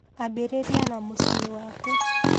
Ambĩrĩria na mũciĩ waku